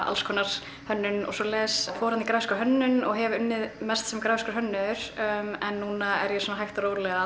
alls konar hönnun og svoleiðis fór þarna í grafíska hönnun og hef unnið mest sem grafískur hönnuður en núna er ég svona hægt og rólega